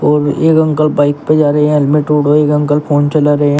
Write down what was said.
और एक uncle bike पे जा रहे हैं हेलमेट एक अंकल फोन चला रहे हैं।